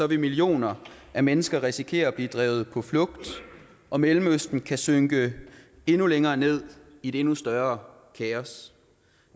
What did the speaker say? vil millioner af mennesker risikere at blive drevet på flugt og mellemøsten kan synke endnu længere ned i et endnu større kaos